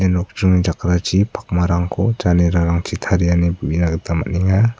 nokjringni jakrachi pakmarangko janerarangchi taria ineba uina gita man·enga.